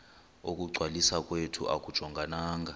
ukungcwaliswa kwethu akujongananga